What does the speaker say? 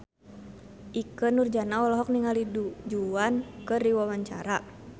Ikke Nurjanah olohok ningali Du Juan keur diwawancara